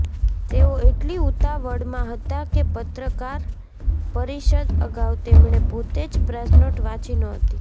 તેઓ એટલી ઉતાવળમાં હતા કે પત્રકારપરિષદ અગાઉ તેમણે પોતે જ પ્રેસનોટ વાંચી નહોતી